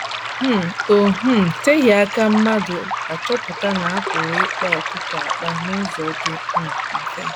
um O um teghị aka mmadụ achọpụta na a pụrụ ịkpa ọkụkọ akpa n’ụzọ dị um mfe.